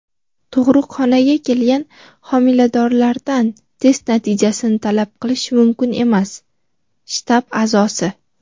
Tug‘ruqxonaga kelgan homiladorlardan test natijasini talab qilish mumkin emas – shtab a’zosi.